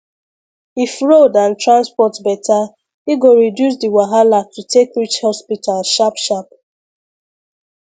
if road and transport better e go reduce the wahala to take reach hospital sharp sharp